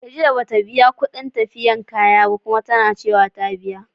Khadijah bata biya kudin tafiyab kaya ba, Kuma tanacewa ta biya.